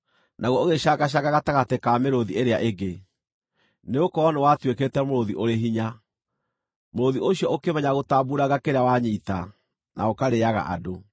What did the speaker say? Naguo ũgĩcangacanga gatagatĩ ka mĩrũũthi ĩrĩa ĩngĩ, nĩgũkorwo nĩwatuĩkĩte mũrũũthi ũrĩ hinya. Mũrũũthi ũcio ũkĩmenyera gũtambuuranga kĩrĩa wanyiita, na ũkarĩĩaga andũ.